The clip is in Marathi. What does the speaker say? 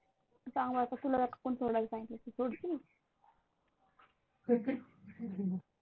सांग बर का तुला जर कोणी सोडायला सांगितलं तर सोडशील?